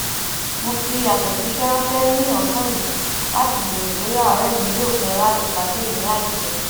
mo fi àtẹjíṣẹ ránṣẹ ní òsán yìí láti béèrè bóyá òré mi yóò fé láti pàdé mi láìpé